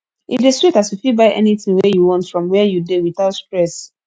e dey sweet as you fit buy anything wey yu want from where yu dey without stress